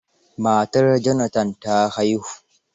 Matar Jonathan ta haihu.